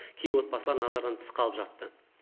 кейбір отбасы назардан тыс қалып жатты